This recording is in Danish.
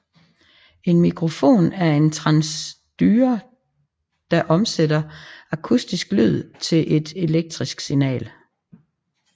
En mikrofon er en transducer der omsætter akustisk lyd til et elektrisk signal